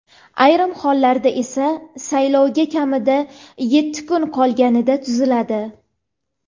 ayrim hollarda esa saylovga kamida yetti kun qolganida tuziladi.